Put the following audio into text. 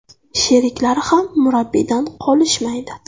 Sheriklari ham murabbiydan qolishmaydi.